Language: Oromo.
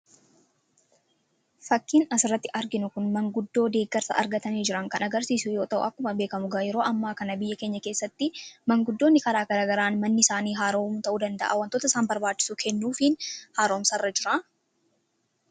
fakkiin asirratti arginu kun manguddoo deeggarsa argatanii jiran kan agarsiisuu yoo ta'u akkuma beekamu yeroo ammaa kana biyya keenya keessatti manguddoonni karaa garagaraan manni isaanii haaromu ta'uu danda'a wantoota isaan barbaachisu kennuufiin haaromsarra jira.